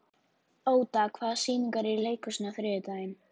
Óda, hvaða sýningar eru í leikhúsinu á þriðjudaginn?